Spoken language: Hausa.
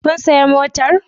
Kun sayi motar?